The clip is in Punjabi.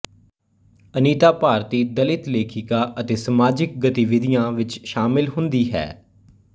ਅਨੀਤਾ ਭਾਰਤੀ ਦਲਿਤ ਲੇਖਿਕਾ ਅਤੇ ਸਮਾਜਿਕ ਗਤੀਵਿਧੀਆਂ ਵਿੱਚ ਸ਼ਾਮਿਲ ਹੁੰਦੀ ਹੈ